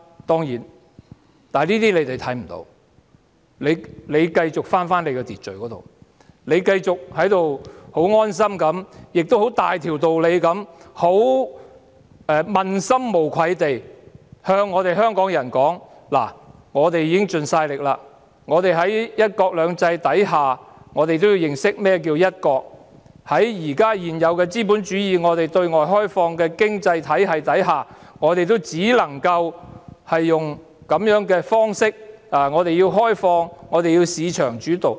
當然，對於這些情況，政府是看不到的，只是繼續返回秩序，繼續十分安心，並且大條道理、問心無愧地跟香港人說：政府已經盡力了，在"一國兩制"之下，大家也要認識何謂"一國"，在現有資本主義對外開放的經濟體系之下，我們只能夠用這種方式，因為我們要開放，以及由市場主導。